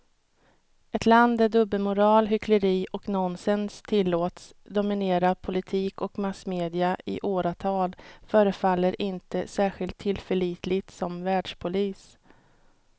Ett land där dubbelmoral, hyckleri och nonsens tillåts dominera politik och massmedia i åratal förefaller inte särskilt tillförlitligt som världspolis.